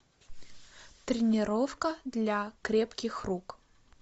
тренировка для крепких рук